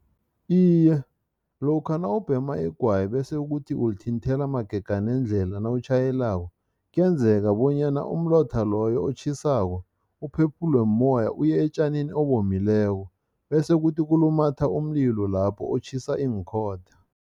Iye, lokha nawubhema igwayi bese ukuthi ulithinthela magega nendlela nawutjhayelako, kuyenzeka bonyana umlotha loyo otjhisako uphephulwe mumoya uye etjanini obomileko bese kuthi kulumatha umlilo lapho otjhisa iinkhotha.